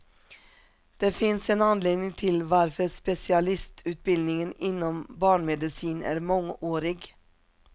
Det finns en anledning till varför specialistutbildningen inom barnmedicin är mångårig.